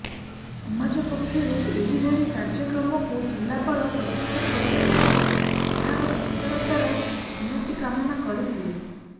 ସମାଜ ପକ୍ଷରୁ ଏହିଭଳି କାର୍ଯ୍ୟକ୍ରମକୁ ଜିଲ୍ଲାପାଳ ପ୍ରଶଂସା କରିବା ସହ ଏହାର ଉତରତର ଉନ୍ନତି କାମନା କରିଥିଲେ